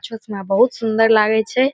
बहुत सुंदर लागे छै।